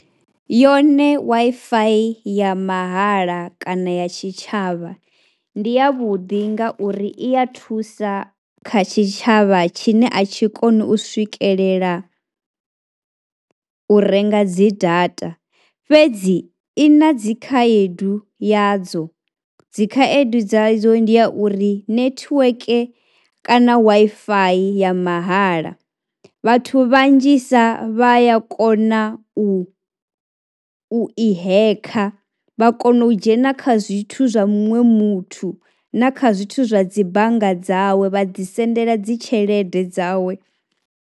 Yone Wi-Fi ya mahala kana ya tshitshavha ndi yavhuḓi ngauri i ya thusa kha tshitshavha tshine a tshi koni u swikelela u renga dzi data fhedzi i na dzi khaedu yadzo. Dzi khaedu dzadzo ndi ya uri netiweke kana Wi-Fi ya mahala vhathu vhanzhisa vha ya kona u i, u i hekha vha kona u dzhena kha zwithu zwa muṅwe muthu na kha zwithu zwa dzi bannga dzawe vha dzi sendela dzi tshelede dzawe.